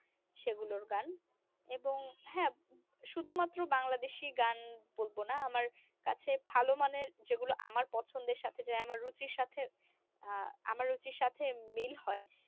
সেগুলোর গান এবং হ্যা শুধুমাত্র বাংলাদেশি গান বলব না আমার কাছে ভালো মানের যেগুলো আমার পছন্দের সাথে যায় আমার রুচির সাথে আহ আমার রুচির সাথে মিল হয়